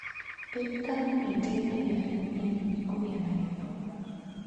Thirikari nĩ ĩteithagia arĩithi anini kũgĩa na gĩthomo.